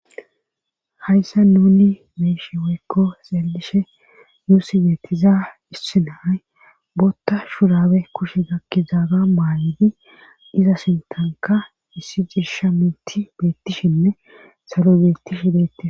hayssa nuni meeshi woykko xeelishe nuussi geettiza issinay bootta shurabe kushe gakki zaaga maayedi iza sintanka issi ciisha minti beettishinne salo geetti shideti